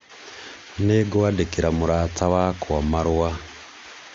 nĩngwadĩkĩra murata wakwa marũa